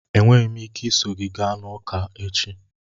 Enweghị m ike iso gị gaa ụka echi